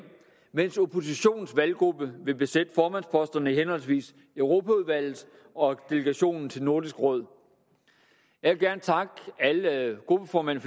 mens oppositionens valggruppe vil besætte formandsposterne i henholdsvis europaudvalget og delegationen til nordisk råd jeg vil gerne takke alle gruppeformænd